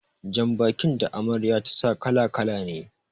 Jan bakin da Amarya ta sa kala- kala ne